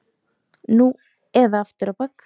Nú eða aftur á bak!